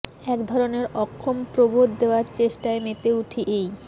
এক ধরনের অক্ষম প্রবোধ দেয়ার চেষ্টায় মেতে উঠি এই